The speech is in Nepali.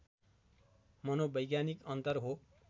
मनोवैज्ञानिक अन्तर हो